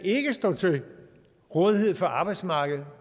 stå til rådighed for arbejdsmarkedet